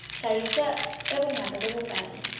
hlahiswa e bongata bo bokae